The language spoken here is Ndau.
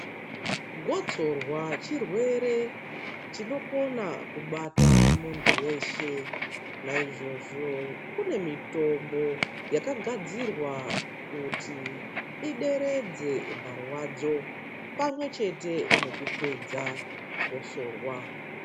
Gotsorwa chirwere chinokona kubata muntu veshe. Naizvozvo kune mitombo yakagadzirwa kuti ideredze marwadzo pamwe chete nekupedza gosorwa.